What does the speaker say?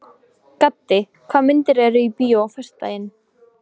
Gaddi, hvaða myndir eru í bíó á föstudaginn?